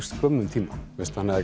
skömmum tíma þannig að